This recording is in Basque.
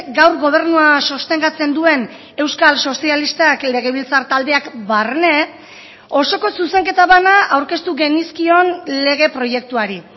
gaur gobernua sostengatzen duen euskal sozialistak legebiltzar taldeak barne osoko zuzenketa bana aurkeztu genizkion lege proiektuari